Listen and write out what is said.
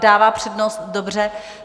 Dává přednost, dobře.